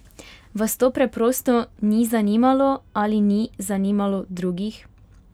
Vas to preprosto ni zanimalo ali ni zanimalo drugih?